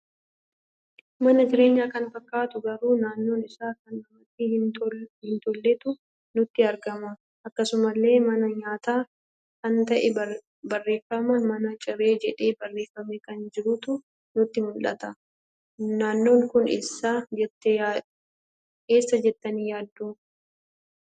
Mana jireenya kan fakkatu, garuu naannoon isaa kan namatti hin tolletu nutti argama. Akkasumalle mana nyaata kan ta'e barreeffama mana ciree jedhee barreeffame kan jirutu nutti muldhata. Naannoon kun eessadh jettani yaaddu?